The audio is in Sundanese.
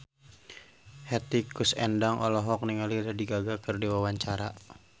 Hetty Koes Endang olohok ningali Lady Gaga keur diwawancara